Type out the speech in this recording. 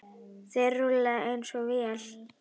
Þeir rúlla eins og vél.